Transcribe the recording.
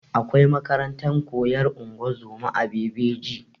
Akwai makarantar koyan ungozoma a bebeji